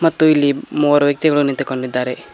ಮತ್ತು ಇಲ್ಲಿ ಮೂವರು ವ್ಯಕ್ತಿಗಳು ನಿಂತುಕೊಂಡಿದ್ದಾರೆ.